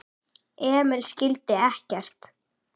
Emil skildi ekkert.